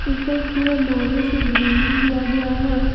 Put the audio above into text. ऊपर पूरा लोहे से ग्रिलिंग दिया गया है।